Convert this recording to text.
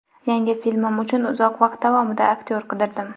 Yangi filmim uchun uzoq vaqt davomida aktyor qidirdim.